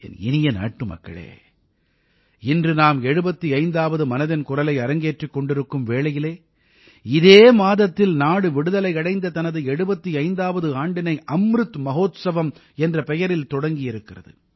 என் இனிய நாட்டுமக்களே இன்று நாம் 75ஆவது மனதின் குரலை அரங்கேற்றிக் கொண்டிருக்கும் வேளையில் இதே மாதத்தில் நாடு விடுதலை அடைந்த தனது 75ஆவது ஆண்டினை அம்ருத் மஹோத்சவம் என்ற பெயரில் தொடங்கியிருக்கிறது